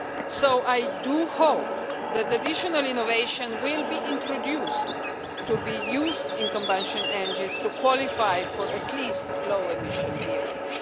So I do hope that additional innovation will be introduced, for use in combustion engines to qualify for at least low emission vehicles.